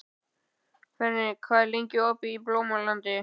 Fenrir, hvað er lengi opið í Blómalandi?